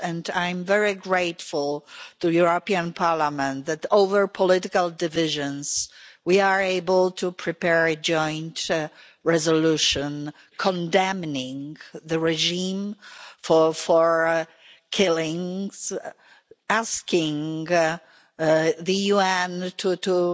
I'm very grateful to the European Parliament that, across political divisions, we are able to prepare a joint resolution condemning the regime for the killings, asking the UN to